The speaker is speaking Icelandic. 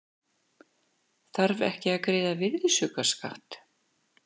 Þarf ekki að greiða virðisaukaskatt